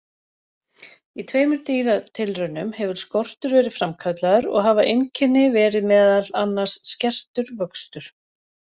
Í tveimur dýratilraunum hefur skortur verið framkallaður og hafa einkenni verið meðal annars skertur vöxtur.